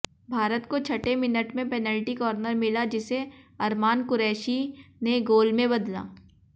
भारत को छठे मिनट में पेनल्टी कार्नर मिला जिसे अरमान कुरैशी ने गोल में बदला